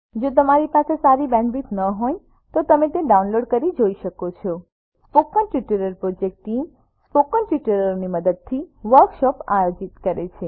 જો તમારી પાસે સારી બેન્ડવિડ્થ ન હોય તો તમે ડાઉનલોડ કરી તે જોઈ શકો છો spoken tutorial project team spoken ટ્યુટોરીયલોની મદદથી વર્કશોપ આયોજિત કરે છે